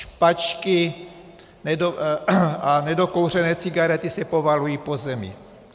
Špačky a nedokouřené cigarety se povalují po zemi.